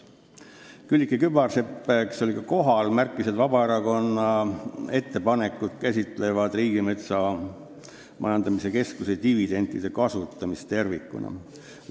Külliki Kübarsepp märkis, et Vabaerakonna ettepanekud käsitlevad Riigimetsa Majandamise Keskuse dividendide kasutamist tervikuna.